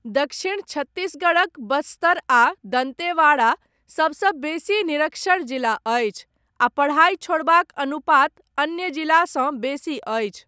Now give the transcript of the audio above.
दक्षिण छत्तीसगढ़क बस्तर आ दन्तेवाड़ा, सबसँ बेसी निरक्षर जिला अछि, आ पढ़ाइ छोड़बाक अनुपात अन्य जिलासँ बेसी अछि।